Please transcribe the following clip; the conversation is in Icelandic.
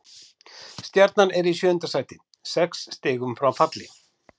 Stjarnan er í sjöunda sæti, sex stigum frá falli.